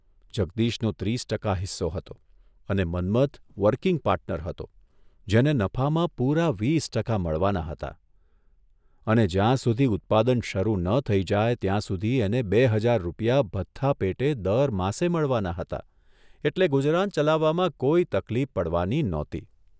જગદીશનો ત્રીસ ટકા હિસ્સો હતો અને મન્મથ વર્કીંગ પાર્ટનર હતો જેને નફામાં પૂરા વીસ ટકા મળવાના હતા અને જ્યાં સુધી ઉત્પાદન શરૂ ન થઇ જાય ત્યાં સુધી એને બે હજાર રૂપિયા ભથ્થા પેટે દર માસે મળવાના હતા એટલે ગુજરાન ચલાવવામાં કોઇ તકલીફ પડવાની નહોતી.